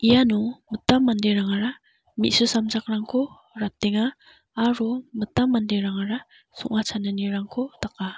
iano mitam manderangara me·su samjakrangko ratenga aro mitam manderangara song·a chananirangko daka.